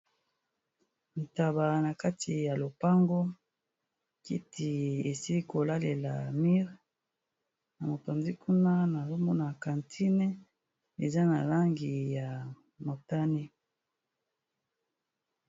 Ntaba na kati ya lopango kiti esi kolalela mire na mopanzi kuna naomona quantine eza na langi ya motane.